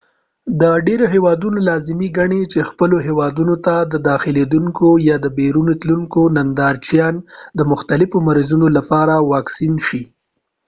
ډیری هیوادونه لازمي ګڼي چې خپلو هیوادونو ته داخلیدونکي یا بیرون تلونکي نندارچیان د مختلفو مرضونو لپاره واکسین شي